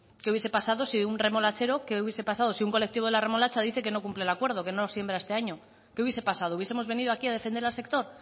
qué hubiese pasado si un remolachero qué hubiese pasado si un colectivo de la remolacha dice que no cumple acuerdo que no siembra este año qué hubiese pasado hubiesemos venido aquí a defender al sector